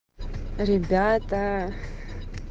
ребята